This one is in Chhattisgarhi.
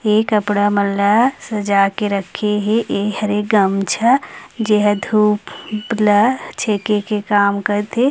ये कपड़ा मन ला सजा के रखे हे ऐ हरे गमछा जे ह धूप ला छेके के काम करथे।